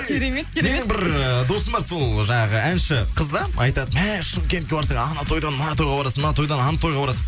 керемет керемет мені бір ы досым бар сол жаңағы әнші қыз да айтады мә шымкентке барсаң ана тойдан мына тойға барасың мына тойдан ана тойға барасың